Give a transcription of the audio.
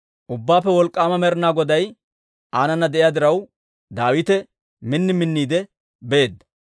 Ubbaappe Wolk'k'aama Med'inaa Goday aanana de'iyaa diraw, Daawite min minniide beedda.